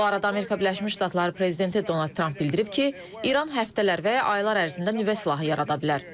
Bu arada Amerika Birləşmiş Ştatları prezidenti Donald Tramp bildirib ki, İran həftələr və ya aylar ərzində nüvə silahı yarada bilər.